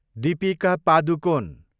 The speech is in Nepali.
दीपिका पादुकोन